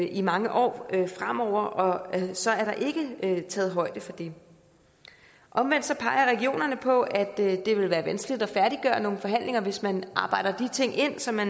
i mange år fremover og så er der ikke taget højde for det omvendt peger regionerne på at det ville være vanskeligt at færdiggøre nogle forhandlinger hvis man arbejder de ting ind som er